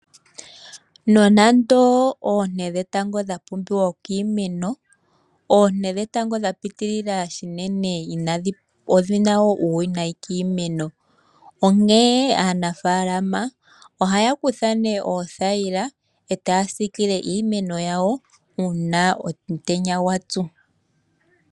Nonando oonte dhetango dhapumbiwa kiimeno, oonte dhetango dhapitilila unene odhina uuwinayi kiimeno, onke aanafalama ohaya kutha oothayila etaya sikile iimeno yawo uuna omutenya gwa tsu.